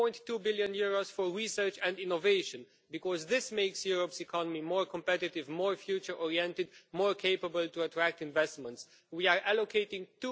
11.2 billion for research and innovation because this makes Europe's economy more competitive, more future oriented and more capable of attracting investments. We are allocating EUR